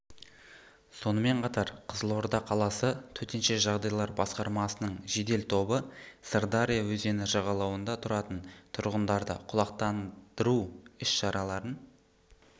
сонымен қатар қызылорда қаласы төтенше жағдайлар басқармасының жедел тобы сырдария өзені жағалауында тұратын тұрғындарды құлақтандыру іс-шараларын